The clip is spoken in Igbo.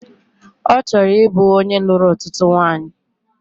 Ọ chọrọ ịbụ onye lụrụ ọtụtụ nwanyị